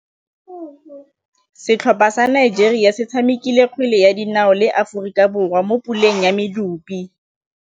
Setlhopha sa Nigeria se tshamekile kgwele ya dinaô le Aforika Borwa mo puleng ya medupe.